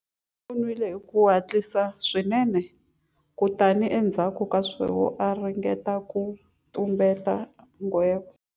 U nwile hi ku hatlisa swinene kutani endzhaku ka sweswo a ringeta ku tumbeta nghevo.